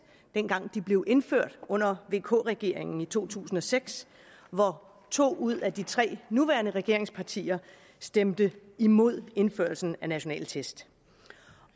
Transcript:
dengang de blev indført under vk regeringen i to tusind og seks hvor to ud af de tre nuværende regeringspartier stemte imod indførelsen af nationale test